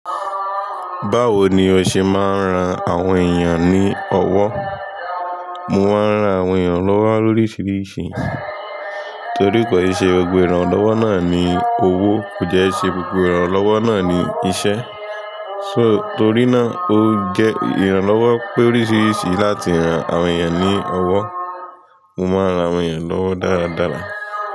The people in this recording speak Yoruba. Báwo ni o ṣe máa ń ran àwọn èèyàn ní ọwọ́? Mo máa ń ran àwọn èèyàn lọ́wọ́ lóríṣiríṣi torí kò ṣe gbogbo ìrànlọ́wọ́ náà ni owó, kò dẹ́ i ṣe gbogbo ìrànlọ́wọ́ náà ni iṣẹ́. Torí náà, ó jẹ́ ìrànlọ́wọ́ pé oríṣiríṣi láti ran àwọn èèyàn ní ọwọ́. Mo máa ń ran àwọn èèyàn lọ́wọ́ dáradára.